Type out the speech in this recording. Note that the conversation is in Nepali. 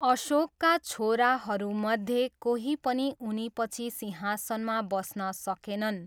अशोकका छोराहरूमध्ये कोही पनि उनीपछि सिंहासनमा बस्न सकेनन्।